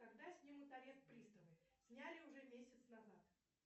когда снимут арест приставы сняли уже месяц назад